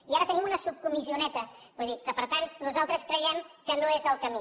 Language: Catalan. i ara tenim una subcomissioneta que per tant nosaltres creiem que no és el camí